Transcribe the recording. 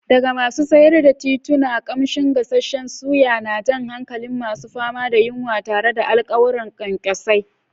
Daga masu sayar da tituna, kamshin gasasshen suya na jan hankalin masu fama da yunwa tare da alƙawarin ƙwanƙwasa.